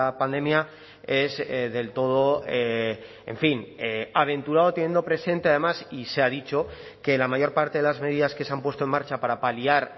pandemia es del todo en fin aventurado teniendo presente además y se ha dicho que la mayor parte de las medidas que se han puesto en marcha para paliar